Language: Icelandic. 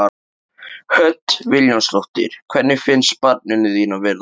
Hödd Vilhjálmsdóttir: Hvernig finnst barninu þínu að vera þarna?